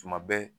Tuma bɛɛ